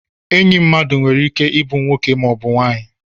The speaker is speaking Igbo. Enyi mmadụ nwere ike ịbụ nwoke maọbụ nwanyị